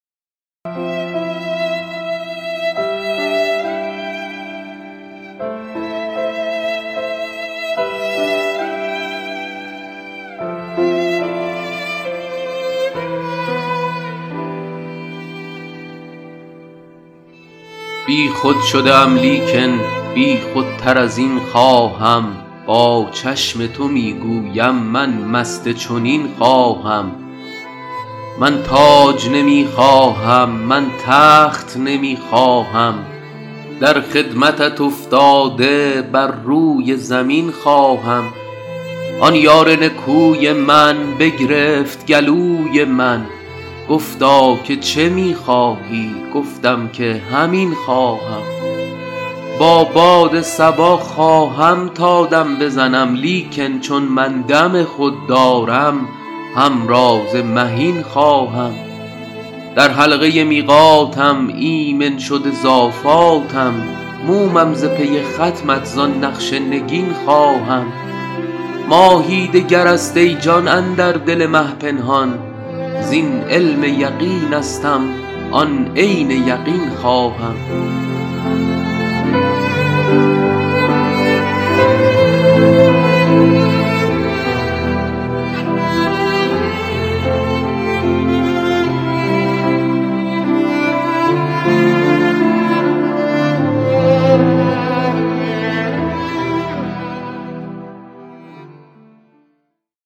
بیخود شده ام لیکن بیخودتر از این خواهم با چشم تو می گویم من مست چنین خواهم من تاج نمی خواهم من تخت نمی خواهم در خدمتت افتاده بر روی زمین خواهم آن یار نکوی من بگرفت گلوی من گفتا که چه می خواهی گفتم که همین خواهم با باد صبا خواهم تا دم بزنم لیکن چون من دم خود دارم همراز مهین خواهم در حلقه میقاتم ایمن شده ز آفاتم مومم ز پی ختمت زان نقش نگین خواهم ماهی دگر است ای جان اندر دل مه پنهان زین علم یقینستم آن عین یقین خواهم